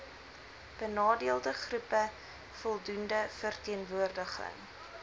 benadeeldegroepe voldoende verteenwoordiging